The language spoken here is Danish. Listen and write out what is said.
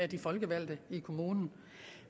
de folkevalgte i kommunen